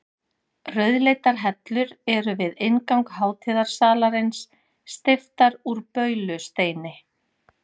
Rauðleitar hellur eru við inngang hátíðasalarins, steyptar úr baulusteini.